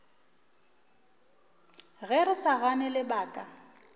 ge re sa gane lebaka